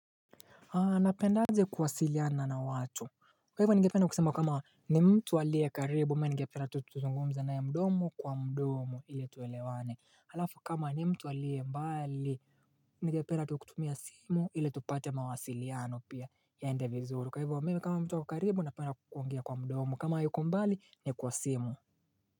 Anapendaje kuwasiliana na watu Kwa hivyo ningependa kusema kama ni mtu alie karibu ama ningependa tu tuzungumza na mdomo kwa mdomo ili tuelewane Halafu kama ni mtu alie mbali ningependa tu tutumia simu ili tupate mawasiliano pia yaende vizuru Kwa hivyo wa mimi kama mtu ako karibu napenda kukuongea kwa mdomo kama yuko mbali ni kwa simu.